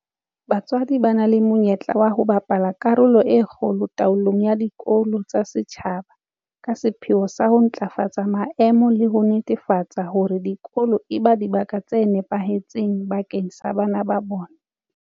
BaTswaDI ba na le monyetla wa ho bapala karolo e kgolo taolong ya dikolo tsa setjhaba ka sepheo sa ho ntlafatsa maemo le ho netefatsa hore dikolo eba dibaka tse nepahetseng bakeng sa bana ba bona.